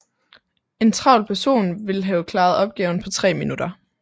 En travl person vil have klaret opgaven på tre minutter